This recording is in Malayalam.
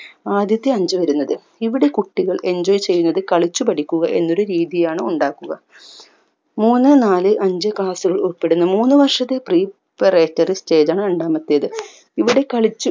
ആദ്യത്തെ അഞ്ച് വരുന്നത് ഇവിടെ കുട്ടികൾ enjoy ചെയ്യുന്നത് കളിച്ചു പഠിക്കുക എന്നൊരു രീതിയാണ് ഉണ്ടാക്കുക മൂന്ന് നാല് അഞ്ച് class കൾ ഉൾപ്പെടുന്ന മൂന്നുവർഷത്തെ preparatory stage ആണ് രണ്ടാമത്തെത് ഇവിടെ കളിച്ചു